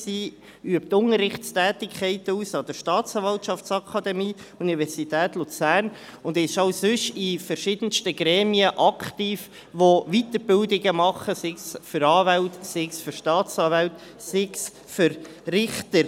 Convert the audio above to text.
Sie übt Unterrichtstätigkeiten an der Staatsanwaltschaftsakademie an der Universität Luzern aus und ist auch sonst in verschiedensten Gremien aktiv, die Weiterbildung anbieten, sei es für Anwälte, für Staatsanwälte oder für Richter.